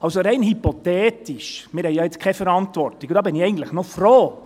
Also, rein hypothetisch – wir haben ja jetzt keine Verantwortung, und darüber bin ich eigentlich froh: